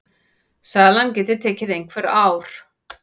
Salan geti tekið einhver ár.